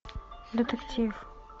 детектив